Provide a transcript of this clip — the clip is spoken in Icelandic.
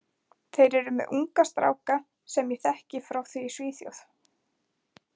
Þeir eru með unga stráka sem ég þekki frá því í Svíþjóð.